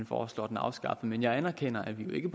foreslår den afskaffet men jeg anerkender at vi jo ikke